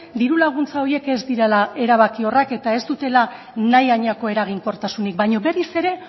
diru laguntza horiek ez direla erabakiorrak eta ez dutela nahi hainako eraginkortasunik baino berriz ere